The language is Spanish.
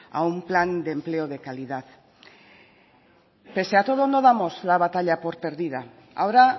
a un plan de empleo de calidad pese a todo no damos la batalla por perdida ahora